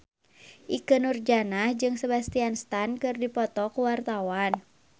Ikke Nurjanah jeung Sebastian Stan keur dipoto ku wartawan